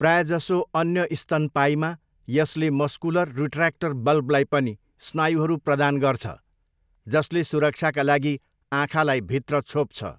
प्रायजसो अन्य स्तनपायीमा यसले मस्कुलर रिट्र्याक्टर बल्बलाई पनि स्नायुहरू प्रदान गर्छ, जसले सुरक्षाका लागि आँखालाई भित्र छोप्छ।